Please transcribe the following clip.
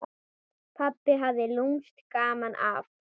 Pabbi hafði lúmskt gaman af.